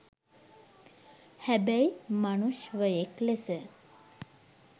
හැබැයි මනුශ්වයෙක් ලෙස